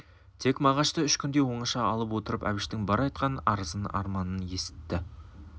тек мағашты үш күндей оңаша алып отырып әбіштің бар айтқан арызын арманын есітті